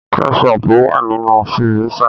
Kétchọpù wà nínu fíríṣà.